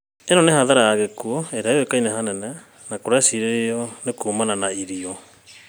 Ĩno nĩ hathara ya gĩkuũ ĩrĩa yũĩkaine hanene, na nĩkũrecirĩrio nĩ kuumana na irio